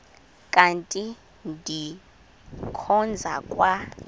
kanti ndikhonza kwa